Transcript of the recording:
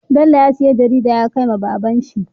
Bello ya siya jarida yakai wa baban shi